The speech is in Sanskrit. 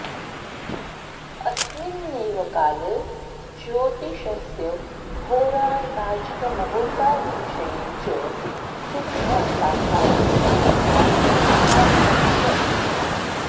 अस्मिन्नेव काले ज्योतिषस्य होराताजिकमुहूर्तादिविषये च सिद्धान्ताः प्रतिपादिता व्याख्याताश्च